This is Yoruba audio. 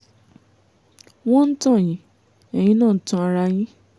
wọ́n ń tàn yín ẹ̀yin náà ń tan ara yín